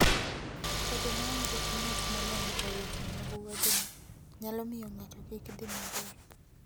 Bedo maonge gi ng'at molony e weche mag wuodhno, nyalo miyo ng'ato kik dhi maber.